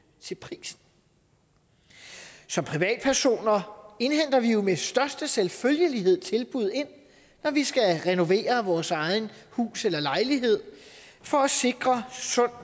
til prisen som privatpersoner indhenter vi jo med største selvfølgelighed tilbud når vi skal renovere vores eget hus eller egen lejlighed for at sikre sund